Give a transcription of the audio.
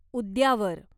उद्यावर